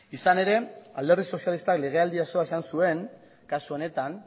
izan ere alderdi sozialistak legealdi osoa izan zuen kasu honetan